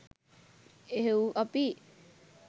එහෙව් අපි